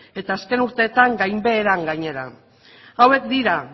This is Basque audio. eta azken urteetan gainbeheran gainera hauek dira